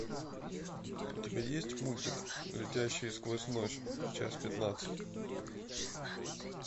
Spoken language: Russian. у тебя есть мультик летящие сквозь ночь часть пятнадцать